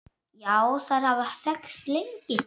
Já, þær hafa þekkst lengi.